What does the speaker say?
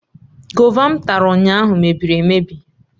Gova m tara ụnyahụ mebiri emebi